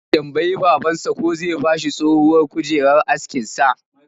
Zai tambayi babansa ko zai ba shi tsohuwar kujerar askinsa